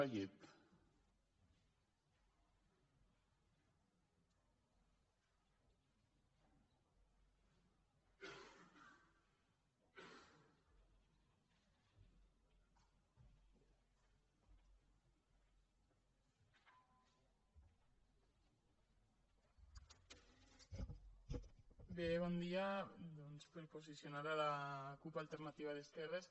bé bon dia doncs per a posicionar la cup alternativa d’esquerres